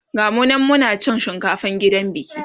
gamu nan Muna cin shinkafan gidan biki